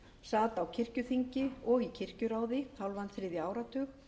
sat á kirkjuþingi og í kirkjuráði hálfan þriðja áratug